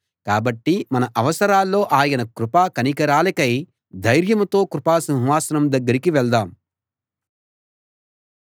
కాబట్టి మన అవసరాల్లో ఆయన కృపా కనికరాలకై ధైర్యంతో కృపా సింహాసనం దగ్గరికి వెళ్దాం